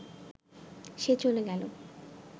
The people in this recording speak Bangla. সে চলে গেল